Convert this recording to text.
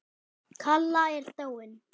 Kalla er dáin.